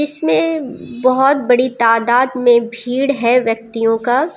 इसमें बहोत बड़ी तादाद में भीड़ है व्यक्तियों का।